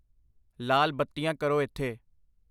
ਲਾਲ ਬੱਤੀਆਂ ਕਰੋ ਇਥੇ I